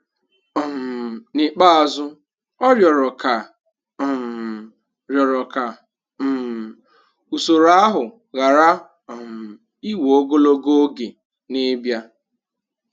um N''ikpeazụ, ọ 'rịọrọ' ka um 'rịọrọ' ka um usoro ahụ ghara um iwe ogologo oge n'ịbịa.